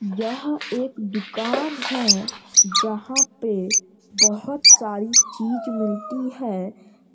यह एक दुकान है जहाँ पे बहुत सारी चीज़ मिलती है |